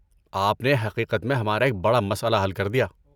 آپ نے حقیقت میں ہمارا ایک بڑا مسئلہ حل کردیا۔